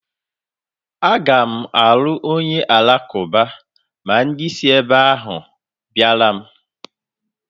Aga m alụ onye alakụba ma dị si ebe ahụ bịara m